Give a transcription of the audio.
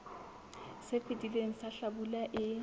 se fetileng sa hlabula e